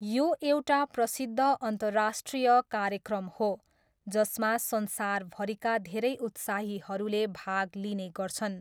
यो एउटा प्रसिद्ध अन्तर्राष्ट्रिय कार्यक्रम हो जसमा संसारभरिका धेरै उत्साहीहरूले भाग लिने गर्छन्।